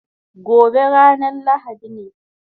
Gobe ranan lahadi ne